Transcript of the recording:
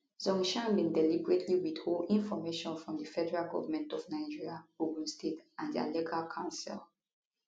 zhongshan bin deliberately withhold information from di federal government of nigeria ogun state and dia legal counsel